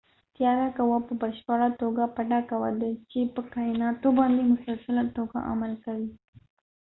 تیاره قوه په پشپړه توګه پټه قوه ده چې په کایناتو باندي مسلسله تو ګه عمل کوي